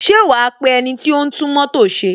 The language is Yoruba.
Ṣé wa pe ẹniti o ń tún mótò ṣe?